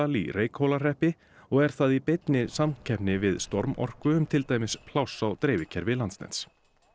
í Reykhólahreppi og er það í beinni samkeppni við storm orku um til dæmis pláss á dreifikerfi Landsnets